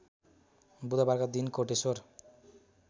बुधबारका दिन कोटेश्वर